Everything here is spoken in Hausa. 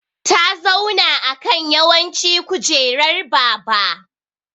Ta zauna ã kan yawanci kujerar baba.